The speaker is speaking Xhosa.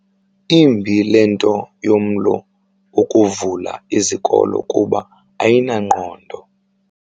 Imbi le nto yomlo wokuvala izikolo kuba ayinangqondo.